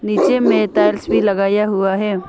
नीचे में तर्ज भी लगाया हुआ है।